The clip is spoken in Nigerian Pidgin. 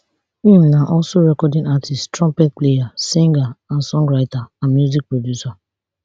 im na also recording artiste trumpet player singer and songwriter and music producer